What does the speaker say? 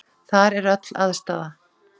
Þar er öll aðstaða.